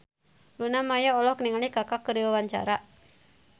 Luna Maya olohok ningali Kaka keur diwawancara